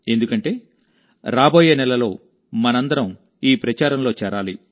ఎందుకంటే రాబోయే నెలలో మనమందరం ఈ ప్రచారంలో చేరాలి